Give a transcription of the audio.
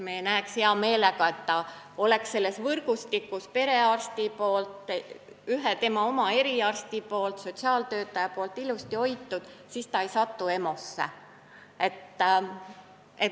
Me näeksime hea meelega, et ta oleks selles võrgustikus, kus on perearst, tema oma eriarst ja sotsiaaltöötaja, ilusti hoitud, siis ta EMO-sse ei satugi.